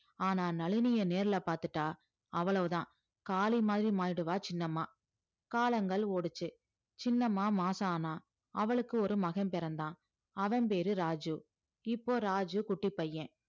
ஆனா நளினிய நேர்ல பார்த்துட்டா அவ்வளவுதான் காளி மாதிரி மாறிடுவா சின்னம்மா காலங்கள் ஓடுச்சு சின்னம்மா மாசம் ஆனா அவளுக்கு ஒரு மகன் பிறந்தான் அவன் பேரு ராஜு இப்போ ராஜு குட்டி பையன்